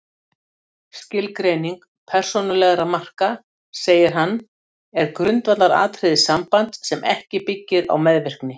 Skilgreining persónulegra marka, segir hann, er grundvallaratriði sambands sem ekki byggir á meðvirkni.